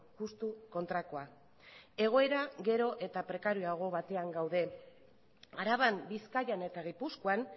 justu kontrakoa egoera gero eta prekarioago batean gaude araban bizkaian eta gipuzkoan